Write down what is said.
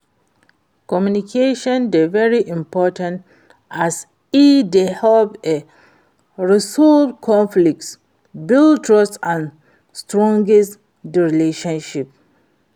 communication dey very important as e dey help to resolve conflicts, build trust and strengthen di relationship.